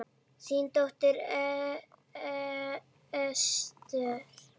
Þín Dóra Esther.